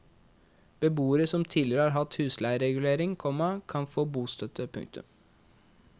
Beboere som tidligere har hatt husleieregulering, komma kan få bostøtte. punktum